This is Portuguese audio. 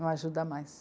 Uma ajuda a mais.